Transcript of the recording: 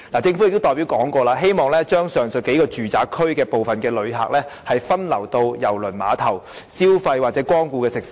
政府代表曾表示，擬把上述數個住宅區的部分旅客，分流至郵輪碼頭消費或光顧該處的食肆。